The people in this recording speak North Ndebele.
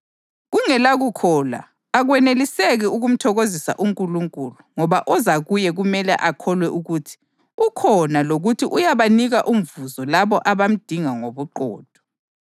Kungelakukholwa akweneliseki ukumthokozisa uNkulunkulu ngoba oza kuye kumele akholwe ukuthi ukhona lokuthi uyabanika umvuzo labo abamdinga ngobuqotho.